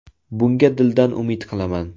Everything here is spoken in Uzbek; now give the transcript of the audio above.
Bunga dildan umid qilaman.